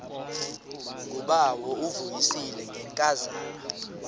ngubawo uvuyisile ngenkazana